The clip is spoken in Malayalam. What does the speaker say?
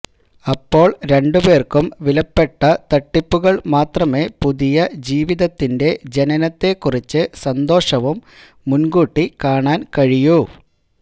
അപ്പോൾ രണ്ടുപേർക്കും വിലപ്പെട്ട തട്ടിപ്പുകൾ മാത്രമേ പുതിയ ജീവിതത്തിന്റെ ജനനത്തെക്കുറിച്ച് സന്തോഷവും മുൻകൂട്ടിക്കാണാൻ കഴിയൂ